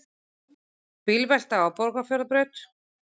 Bílvelta á Borgarfjarðarbraut